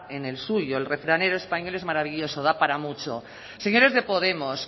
en el suyo el refranero español es maravilloso da para mucho señores de podemos